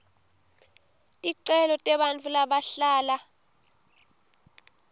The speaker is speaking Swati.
ticelo tebantfu labahlala